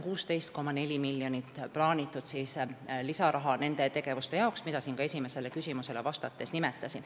16,4 miljonit lisaraha on plaanitud nende tegevuste jaoks, mida ma siin esimesele küsimusele vastates ka nimetasin.